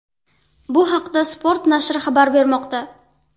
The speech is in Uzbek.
Bu haqda Sport nashri xabar bermoqda .